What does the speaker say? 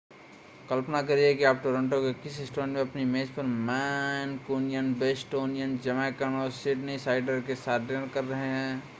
कल्पना करिए कि आप टोरंटो के किसी रेस्टोरेंट में अपनी मेज पर मैन्कूनियन बोस्टोनियन जमैकन और सिडनीसाइडर के साथ डिनर कर रहे हैं